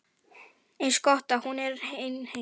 Eins gott að hún er ein heima.